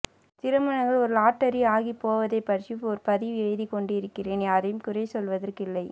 திருமணங்கள் ஒரு லாட்டரிஆகிப் போவதுபற்றி ஒருபதிவு எழுதிக்கொண்டிருக்கிறேன் யாரையும்குறை சொல்வதற் கில்லை